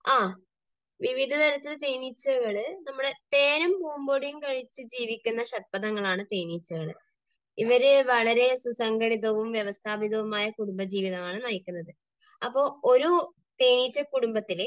ആ വിവിധതരത്തിലെ തേനീച്ചകൾ നമ്മുടെ, തേനും പൂമ്പൊടിയും കഴിച്ച് ജീവിക്കുന്ന ഷഡ്പദങ്ങളാണ് തേനീച്ചകൾ. ഇവർ വളരെ സുസംഘടിതവും വ്യവസ്ഥാപിതവുമായ കുടുംബജീവിതമാണ് നയിക്കുന്നത്. അപ്പോൾ ഒരു തേനീച്ചക്കുടുംബത്തിൽ